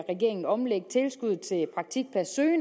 regeringen omlægge tilskuddet til i